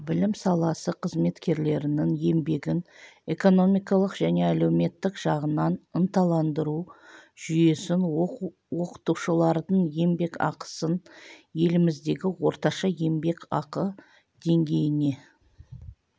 білім саласы қызметкерлерінің еңбегін экономикалық және әлеуметтік жағынан ынталандыру жүйесін оқытушылардың еңбекақысын еліміздегі орташа еңбекақы деңгейіне